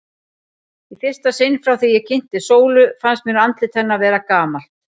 Í fyrsta sinn frá því ég kynntist Sólu fannst mér andlit hennar vera gamalt.